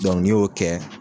n'i y'o kɛ,